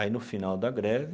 Aí no final da greve,